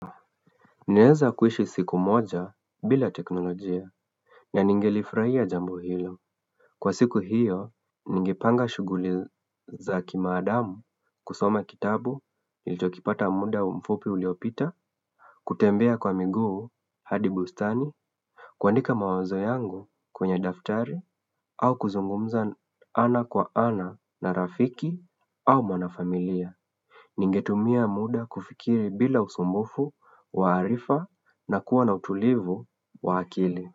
Naeza kuishi siku moja bila teknolojia na ningelifraia jambo hilo Kwa siku hiyo ningrpanga shuguli za kima adamu kusoma kitabu ilitokipata muda mfupi uliopita kutembea kwa miguu hadi bustani kuandika mawazo yangu kwenye daftari au kuzungumza ana kwa ana na rafiki au mwanafamilia Ningetumia muda kufikiri bila usumbufu, wa arifa na kuwa na utulivu wa akili.